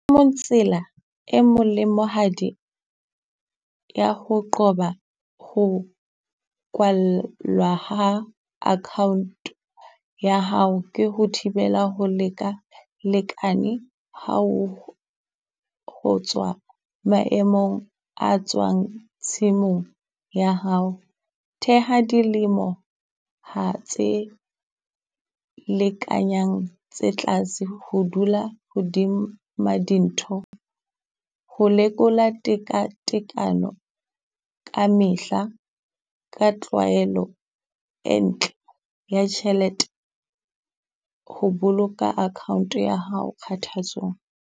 Tsela e molemohadi ya ho qoba ho kwallwa ha account ya hao ke ho thibela ho leka lekane ha ho ho tswa maemong a tswang tshimong ya hao. Theha dilemo ha tse lekanyang tse tlase ho dula hodima dintho, ho lekola tekatekano ka mehla ka tlwaelo e ntle ya tjhelete. Ho boloka account ya hao kgathatsong.